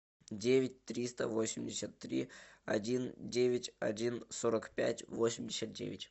девять триста восемьдесят три один девять один сорок пять восемьдесят девять